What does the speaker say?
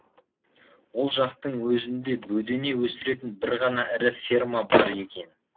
ол жақтың өзінде бөдене өсіретін бір ғана ірі ферма бар екен